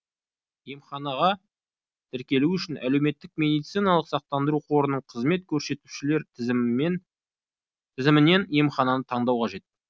емханаға тіркелу үшін әлеуметтік медициналық сақтандыру қорының қызмет көрсетушілер тізімінен емхананы таңдау қажет